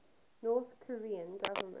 north korean government